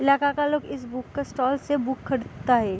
इलाका का लोग इस बुक के स्टॉल से बुक खरीदता है |